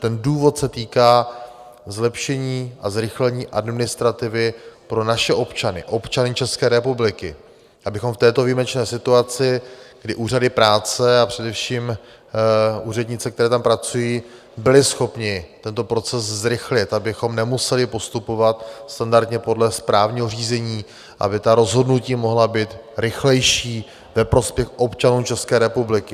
Ten důvod se týká zlepšení a zrychlení administrativy pro naše občany, občany České republiky, abychom v této výjimečné situaci, kdy úřady práce a především úřednice, které tam pracují, byly schopny tento proces zrychlit, abychom nemuseli postupovat standardně podle správního řízení, aby ta rozhodnutí mohla být rychlejší ve prospěch občanů České republiky.